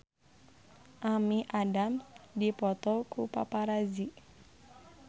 Amy Adams dipoto ku paparazi